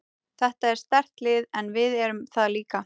Þetta er sterkt lið en við erum það líka.